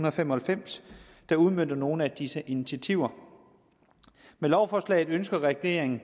og fem og halvfems der udmønter nogle af disse initiativer med lovforslaget ønsker regeringen